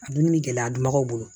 A dun bɛ gɛlɛya dun baw bolo